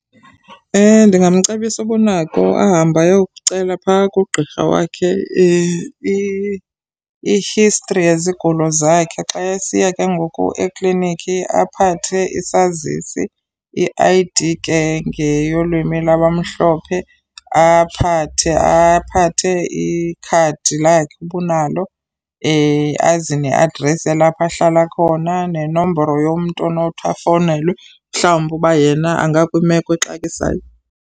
Ndingamcebisa uba unako ahambe ayokucela phaa kugqirha wakhe i-history yezigulo zakhe. Xa esiya ke ngoku eklinikhi aphathe isazisi i-I_D ke ngeyolwimi lwabamhlophe. Aphathe aphathe ikhadi lakhe uba unalo aze neadresi yalapho ahlala khona nenombolo yomntu onothi afowunelwe mhlawumbi uba yena angakwimeko exakisayo.